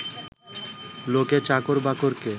লোকে চাকর বাকরকে